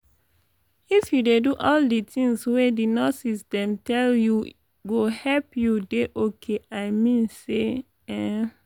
if you dey do all di tins wey di nurses dem tell you go help u dey ok i mean say emmm